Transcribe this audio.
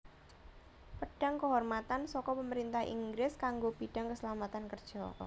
Pedang Kehormatan saka Pemerintah Inggris kanggo bidang keselamatan kerja